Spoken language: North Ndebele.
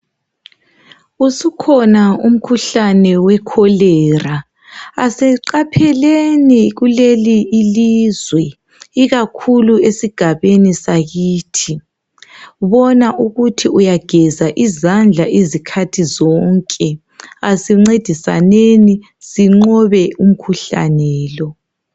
Usukhona umkhuhlane weCholera. Asiqapheleni kuleli ilizwe. Ikakhulu esigabeni sakithi. Bona ukuthi uyageza izandla izikhathi zonke. Asincedisaneni sinqobe umkhuhlane lo.